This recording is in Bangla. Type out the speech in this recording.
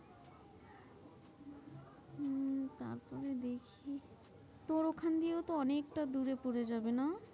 তারপরে দেখি তোর ওখান দিয়ে ও তো অনেকটা দূরে পরে যাবে না।